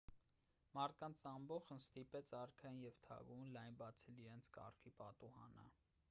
մարդկանց ամբոխն ստիպեց արքային և թագուհուն լայն բացել իրենց կառքի պատուհանը